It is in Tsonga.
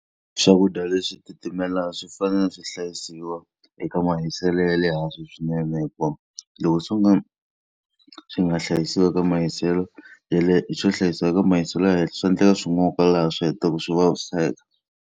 Swakudya leswi titimelaka swi fanele swi hlayisiwa eka mahiselo ya le hansi swinene hikuva loko swo ka swi nga hlayisiwi eka mahiselo ya le swo hlayisiwa eka mahiselo ya le henhla, swa endleka swi n'oka laha swi hetelelaka swi vaviseka.